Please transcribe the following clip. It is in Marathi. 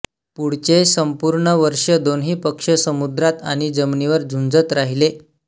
पुढचे संपूर्ण वर्ष दोन्ही पक्ष समद्रात आणि जमिनीवर झुंजत राहिले